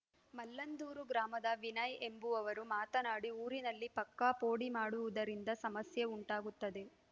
ಮಲ್ಲಂದೂರು ಗ್ರಾಮದ ವಿನಯ್‌ ಎಂಬುವವರು ಮಾತನಾಡಿ ಊರಿನಲ್ಲಿ ಪಕ್ಕಾ ಪೋಡಿ ಮಾಡದಿರುವುದರಿಂದ ಸಮಸ್ಯೆ ಉಂಟಾಗುತ್ತದೆ